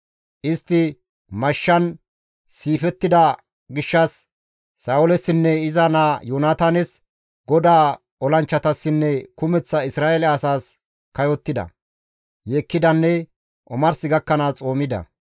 Istti mashshan siifettida gishshas Sa7oolessinne iza naa Yoonataanes, GODAA olanchchatassinne kumeththa Isra7eele asaas kayottida, yeekkidanne omars gakkanaas xoomida.